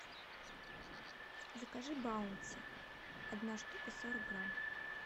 закажи баунти одна штука сорок грамм